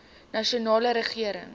nasionale regering